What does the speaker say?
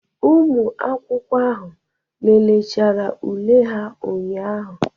Ụmụ akwụkwọ ahụ léléchara ule ha ụnyahụ.